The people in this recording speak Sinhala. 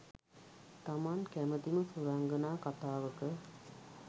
තමන් කැමතිම සුරංගනා කතාවක